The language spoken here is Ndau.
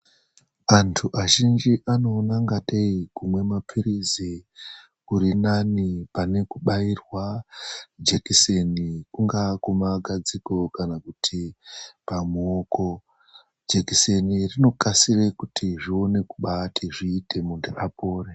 ANTU AZHINJI ANOONA KUNGATEI KUMWA MAPIRIZI KURINANE PANE KUBAIRWA JEKISENI KUNGAWE KUMAGADZIKO KANA PARUOKO JEKISENI RINOKASIKA KUTI ZVIBAATI ZVIITE KUTI HWEE.